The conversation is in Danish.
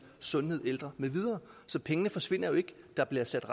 sundhed ældre med videre så pengene forsvinder jo ikke der bliver sat